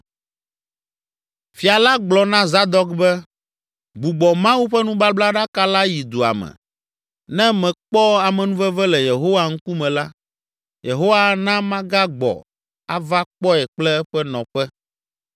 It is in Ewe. Fia la gblɔ na Zadok be, “Gbugbɔ Mawu ƒe nubablaɖaka la yi dua me. Ne mekpɔ amenuveve le Yehowa ŋkume la, Yehowa ana magagbɔ ava kpɔe kple eƒe nɔƒe.